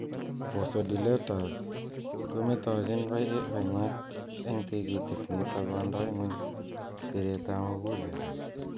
vasodilators kometochin panyek eng tigitik nitok kondoi nguny bireet ap muguleldo.